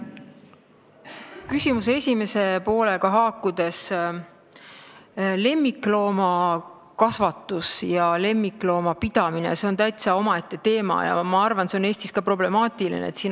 Küsimuse esimese poolega haakudes ütlen, et lemmikloomakasvatus ja lemmikloomade pidamine on omaette teema ja ma arvan, et see on Eestis problemaatiline.